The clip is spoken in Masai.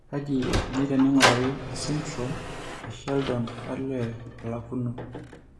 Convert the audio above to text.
Kaji eikoni teneing'urari esindirom esheldon olee olakuno?